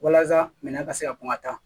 Walasa minɛn ka se ka kɔn ka taa